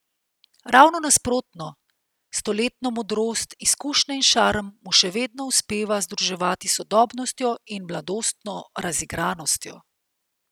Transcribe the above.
Ravno nasprotno, stoletno modrost, izkušnje in šarm mu še vedno uspeva združevati s sodobnostjo in mladostno razigranostjo.